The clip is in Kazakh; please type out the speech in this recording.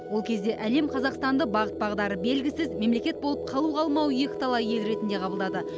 ол кезде әлем қазақстанды бағыт бағдары белгісіз мемлекет болып қалу қалмауы екіталай ел ретінде қабылдады